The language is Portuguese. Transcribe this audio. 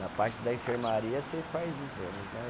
Na parte da enfermaria, você faz exames, né?